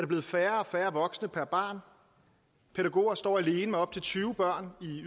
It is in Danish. blevet færre og færre voksne per barn pædagoger står alene med op til tyve børn i